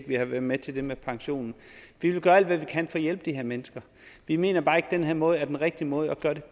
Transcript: vi har været med til det med pensionen vi vil gøre alt hvad vi kan for at hjælpe de her mennesker vi mener bare ikke at den her måde er den rigtige måde at gøre det